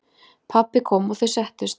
Pabbi kom og þau settust.